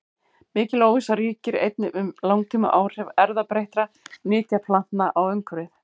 Mikil óvissa ríkir einnig um langtímaáhrif erfðabreyttra nytjaplantna á umhverfið.